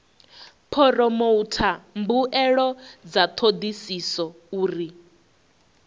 phoromotha mbuelo dza thodisiso uri